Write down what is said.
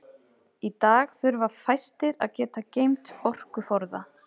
Í dag þurfa fæstir að geta geymt orkuforða.